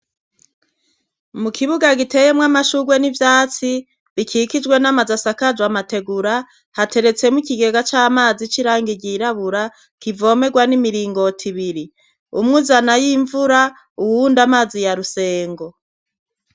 Mu kibuga giteye mw'amashugwe n'ivyatsi bikikijwe n'amazu asakaje amategura hateretse mu ikigega c'amazi c'irangi girabura kivomegwa n'imiringoti ibiri umwe uzana ay'imvura uwundi amazi ya rusengo.